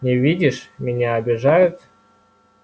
не видишь меня обижают